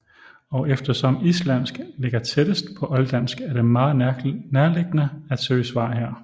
Og eftersom islandsk ligger tættest på olddansk er det meget nærliggende at søge svar her